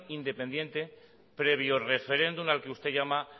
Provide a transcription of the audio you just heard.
independiente previo referéndum al que usted llama